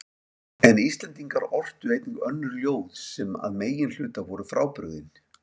En Íslendingar ortu einnig önnur ljóð sem að meginhluta voru frábrugðin